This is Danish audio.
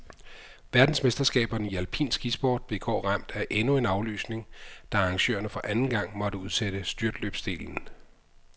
Verdensmesterskaberne i alpin skisport blev i går ramt af endnu en aflysning, da arrangørerne for anden gang måtte udsætte styrtløbsdelen.